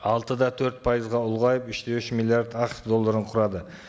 алты да төрт пайызға ұлғайып үш те үш миллиард ақш долларын құрады